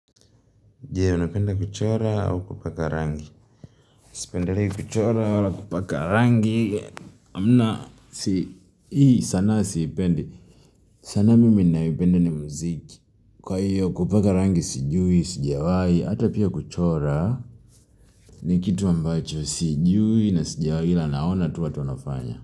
Je, unapenda kuchora au kupaka rangi. Sipendelei kuchora, wala kupaka rangi. Hamna, hii sana siipendi. Sanaa mimi ninayoipenda ni muziki. Kwa hiyo kupaka rangi sijui, sijawahi, hata pia kuchora. Nikitu ambacho, sijui na sijawahi ila naona tu watu wanafanya.